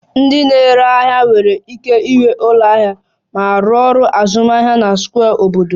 Ndị na-ere ahịa nwere ike ịnwe ụlọ ahịa ma rụọ ọrụ azụmahịa na square obodo